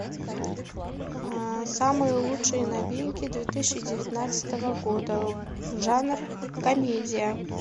самые лучшие новинки две тысячи девятнадцатого года жанр комедия